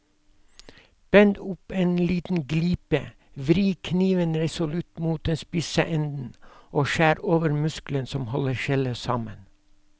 Bend opp en liten glipe, vri kniven resolutt mot den spisse enden og skjær over muskelen som holder skjellet sammen.